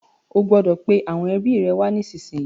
O gbọdọ̀ pe àwọn ẹbi rẹ wá nísìnyí.